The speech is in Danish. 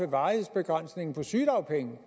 at varighedsbegrænsningen på sygedagpenge